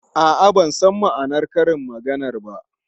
A'a, ban san ma'anar karin maganar ba.